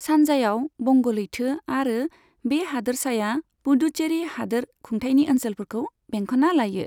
सानजायाव बंग लैथो आरो बे हादोरसाया पुडुचेरी हादोर खुंथायनि ओनसोलफोरखौ बेंखन्ना लायो।